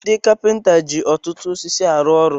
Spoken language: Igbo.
Ndị kapinta ji ọtụtụ osisi arụ ọrụ.